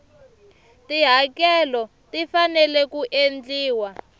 tihakelo ti fanele ku endliwa